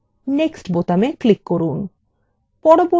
next button click করুন